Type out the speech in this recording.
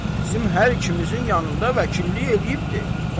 Bizim hər ikimizin yanında vəkillik eləyibdir.